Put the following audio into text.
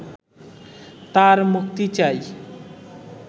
তাঁর মুক্তি চাই